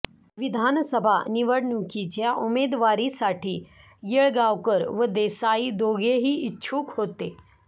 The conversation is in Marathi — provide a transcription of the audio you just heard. विधानसभा निवडणुकीच्या उमेदवारीसाठी येळगावकर व देसाई दोघेही इच्छुक होते